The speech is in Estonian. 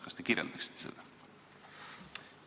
Kas te kirjeldaksite seda?